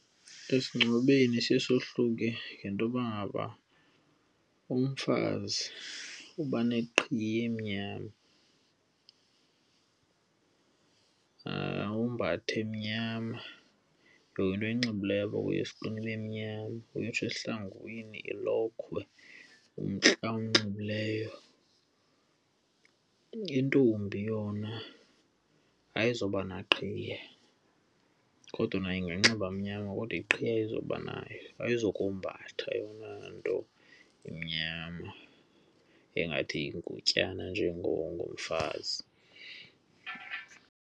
Esingcwabeni siye sohluke ngento yoba ngaba umfazi uba neqhiya emnyama ombathe emnyama. Yonke into ayinxibileyo apha kuye ibe mnyama, uyotsho esihlangwini, ilokhwe, umntla awunxilileyo. Intombi yona ayizuba naqhiya kodwa nayo inganxiba mnyama kodwa iqhiya ayizuba nayo. Ayizukombatha eyona nto imnyama engathi yingutyana njengomfazi.